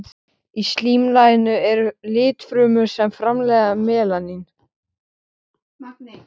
Í slímlaginu eru litfrumur sem framleiða melanín.